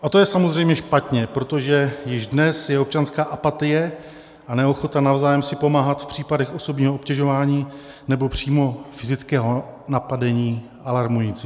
A to je samozřejmě špatně, protože již dnes je občanská apatie a neochota navzájem si pomáhat v případech osobního obtěžování, nebo přímo fyzického napadení, alarmující.